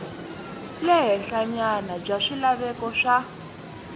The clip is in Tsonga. le henhlanyana bya swilaveko swa